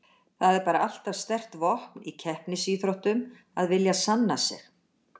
Það er bara alltaf sterkt vopn í keppnisíþróttum að vilja sanna sig.